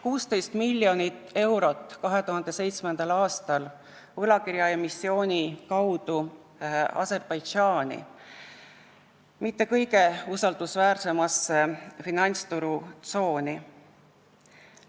16 miljonit eurot läks 2007. aastal võlakirjaemissiooni kaudu Aserbaidžaani, mitte kõige usaldusväärsemasse finantsturu tsooni.